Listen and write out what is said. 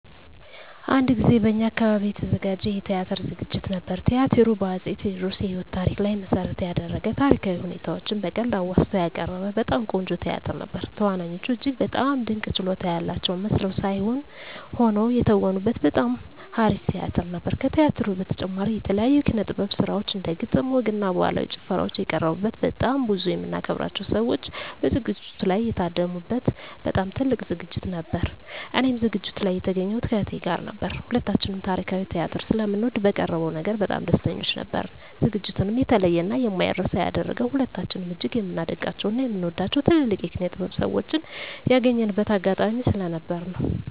አንድ ጊዜ በእኛ አካባቢ የተዘጋጀ የቲያትር ዝግጅት ነበር። ቲያትሩ በ አፄ ቴዎድሮስ የህይወት ታሪክ ላይ መሰረት የደረገ ታሪካዊ ሁነቶችን በቀልድ አዋዝቶ ያቀረበ በጣም ቆንጆ ቲያትር ነበር። ተዋናዮቹ እጅግ በጣም ድንቅ ችሎታ ያላቸው መስለው ሳይሆን ሆነው የተወኑበት በጣም አሪፍ ቲያትር ነበር። ከቲያትሩ በተጨማሪም የተለያዩ የኪነ - ጥበብ ስራዎች እንደ ግጥም፣ ወግ እና ባህላዊ ጭፈራዎች የቀረቡበት በጣም ብዙ የምናከብራቸው ሰዎች በዝግጅቱ ላይ የታደሙ በት በጣም ትልቅ ዝግጅት ነበር። እኔም ዝግጅቱ ላይ የተገኘሁት ከእህቴ ጋር ነበር። ሁለታችንም ታሪካዊ ቲያትር ስለምንወድ በቀረበው ነገር በጣም ደስተኞች ነበርን። ዝግጅቱንም የተለየ እና የማይረሳ ያደረገው ሁለታችንም እጅግ የምናደንቃቸው እና የምንወዳቸውን ትልልቅ የኪነ -ጥበብ ሰዎችን ያገኘንበት አጋጣሚ ስለነበር ነው።